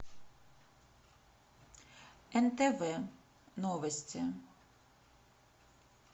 нтв новости